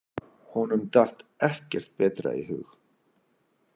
Honum datt ekkert betra í hug.